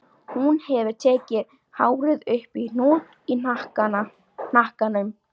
Hún hefur tekið hárið upp í hnút í hnakkanum.